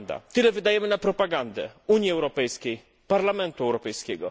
Tyle wydajemy na propagandę Unii Europejskiej, Parlamentu Europejskiego.